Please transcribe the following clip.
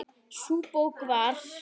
Sú bók var